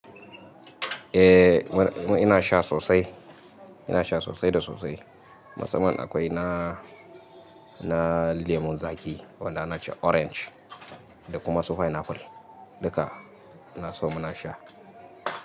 Eh, ina sha sosai, ina sha sosai da sosai. Matsaman akwai na, na lemun zaƙi wanda na ce orange da kuma su pineapple duka ina so muna sha.